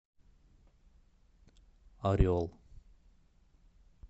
орел